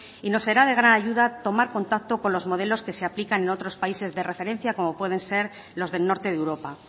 y nos será de gran ayuda tomar contacto con los modelos que se aplican en otros países de referencia como pueden ser los del norte de europa